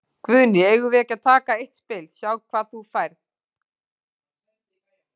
Guðný: Eigum við ekki að taka eitt spil, sjá hvað þú færð?